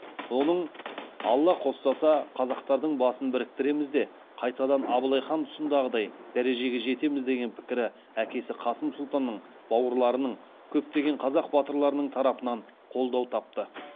оның алла қостаса қазақтардың басын біріктіреміз де қайтадан абылай хан тұсындағыдай дәрежеге жетеміз деген пікірі әкесі қасым сұлтанның бауырларының көптеген қазақ батырларының тарапынан қолдау тапты